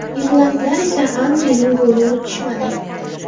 Irlandlar esa Anrining golini unutishmadi.